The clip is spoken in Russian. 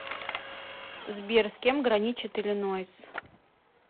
сбер с кем граничит иллинойс